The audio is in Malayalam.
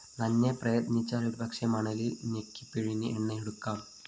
നന്നെ പ്രയത്‌നിച്ചാല്‍ ഒരുപക്ഷേ മണലില്‍ ഞെക്കിപ്പിഴിഞ്ഞ് എണ്ണയെടുക്കാം